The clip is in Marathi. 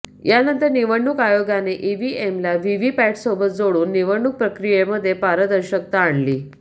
यानंतर निवडणूक आयोगाने ईव्हीएमला व्हीव्हीपॅटसोबत जोडून निवडणूक प्रक्रियेमध्ये पारदर्शकता आणली